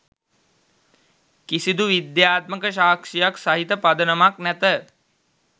කිසිදු විද්‍යාත්මක සාක්ෂියක් සහිත පදනමක් නැත